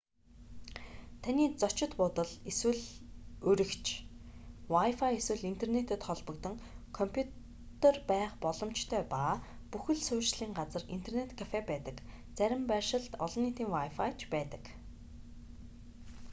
таны зочид буудал эсвэл уригч хэрэв та дэн буудал эсвэл хувийн байшинд байрлаж байгаа бол wifi эсвэл интернэтэд холбогдсон компьютер байх боломжтой ба бүх л суурьшлийн газарт интернэт кафе байдаг зарим байршилд олон нийтийн wifi ч байдаг